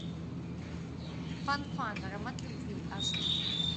фан фан аромат любви аш ди